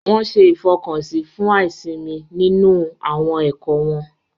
Wọn ṣe ifọkansi fún aisimi nínú awọn ẹkọ wọn.